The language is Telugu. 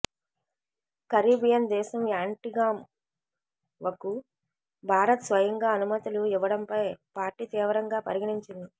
కరీబియన్ దేశం యాంటిగాంవకు భారత్ స్వయంగా అనుమతులు ఇవ్వడంపై పార్టీ తీవ్రంగా పరిగణించింది